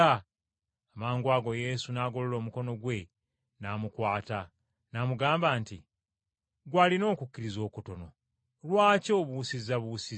Amangwago Yesu n’agolola omukono gwe n’amukwata, n’amugamba nti, “Ggwe alina okukkiriza okutono, lwaki obuusizzabuusizza?”